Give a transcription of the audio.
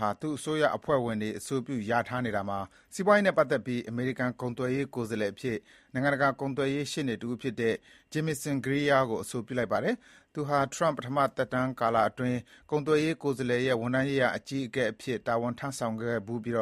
ဟာ သူ့အစိုးရအဖွဲ့ဝင်တွေ အဆိုပြုလျာထား နေတာမှာစီးပွားရေးနဲ့ပတ်သက်ပြီး အမေရိကန်ကုန်သွယ်ရေးကိုယ်စားလှယ်အဖြစ် နိုင်ငံတကာ ကုန်သွယ်ရေး ရှေ့နေတဦးဖြစ်တဲ့ Jamieson Greer ကို အဆိုပြုလိုက်ပါတယ်။ သူဟာ ထရမ့် ပထမသက်တမ်းကာလအတွင်း ကုန်သွယ်ရေးကိုယ်စားလှယ်ရဲ့ ဝန်ထမ်းရေးရာ အကြီးအကဲအဖြစ် တာဝန်ထမ်းဆောင်ခဲ့ဖူးပြီး